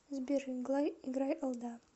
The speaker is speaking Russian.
сбер играй алда